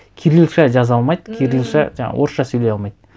кирилша жаза алмайды кирилша жаңағы орысша сөйлей алмайды